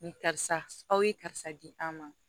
Ni karisa aw ye karisa di an ma